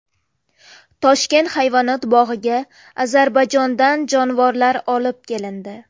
Toshkent hayvonot bog‘iga Ozarbayjondan jonivorlar olib kelindi .